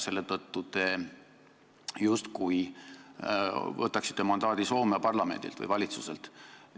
Seega te justkui ootate mandaati Soome parlamendilt või valitsuselt.